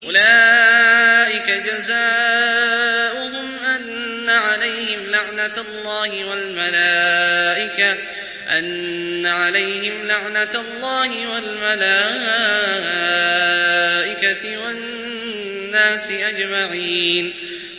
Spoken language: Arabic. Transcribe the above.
أُولَٰئِكَ جَزَاؤُهُمْ أَنَّ عَلَيْهِمْ لَعْنَةَ اللَّهِ وَالْمَلَائِكَةِ وَالنَّاسِ أَجْمَعِينَ